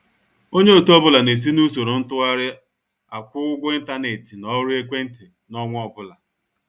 Onye ọtụ ọbụla na-esi n'usoro ntụgharị akwụ-ụgwọ intánẹ̀tị na ọrụ ekwéntị n'ọnwa ọbụla.